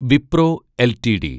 Wipro LTD